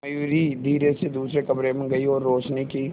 मयूरी धीरे से दूसरे कमरे में गई और रोशनी की